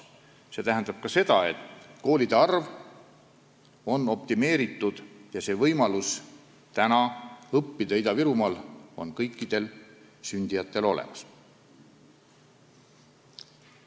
See tähendab ka seda, et koolide arv on optimeeritud ja võimalus õppida Ida-Virumaal on kõikidel sealsetel lastel olemas.